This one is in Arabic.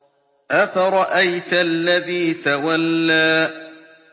أَفَرَأَيْتَ الَّذِي تَوَلَّىٰ